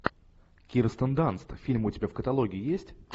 кирстен данст фильмы у тебя в каталоге есть